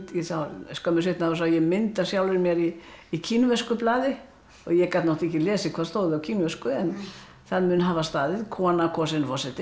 skömmu seinan sá ég mynd af mér í í kínversku blaði og ég gat ekki lesið hvað stóð á kínversku en það mun hafa staðið kona kosin forseti